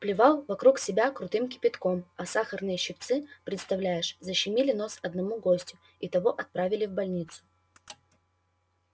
плевал вокруг себя крутым кипятком а сахарные щипцы представляешь защемили нос одному гостю и того отправили в больницу